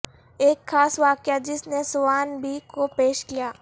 ایک خاص واقعہ جس نے سوان بی کو پیش کیا